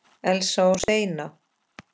Elsa og Steina.